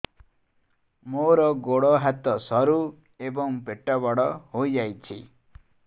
ମୋର ଗୋଡ ହାତ ସରୁ ଏବଂ ପେଟ ବଡ଼ ହୋଇଯାଇଛି